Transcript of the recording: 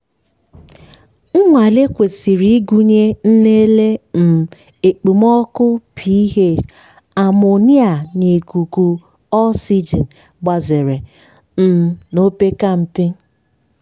nnwale kwesịrị ịgụnye nlele um okpomọkụ ph amonia na ikuku oxygen gbazere um na opekempe.